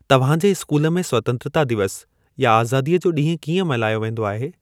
तव्हां जे स्कूल में स्वतंत्रता दिवस या आज़ादीअ जो ॾींहुं कीअं मल्हायो वेंदो आहे?